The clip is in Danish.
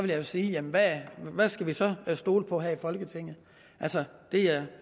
jeg sige jamen hvad skal vi så stole på her i folketinget altså det er